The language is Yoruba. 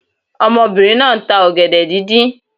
Omobìnrin náà nta ògèdè díndín